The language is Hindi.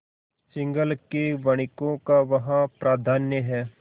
सिंहल के वणिकों का वहाँ प्राधान्य है